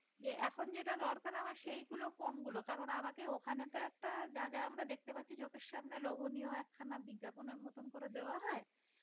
এখন যেটা দরকার আমার সেই গুলো কোনগুলো কারণ আমাকে ওখানে যা যা আমরা দেখতে পাচ্ছি চোখের সামনে লোভনীয় একখানা বিজ্ঞাপনের নতুন করে দেওয়া হয়